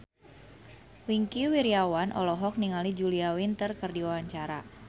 Wingky Wiryawan olohok ningali Julia Winter keur diwawancara